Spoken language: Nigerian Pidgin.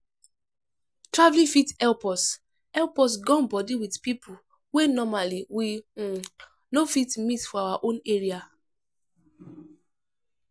Traveling fit help us help us gum body with people wey normally we um no fit meet for our own area um